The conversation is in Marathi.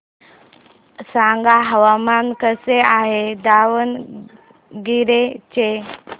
सांगा हवामान कसे आहे दावणगेरे चे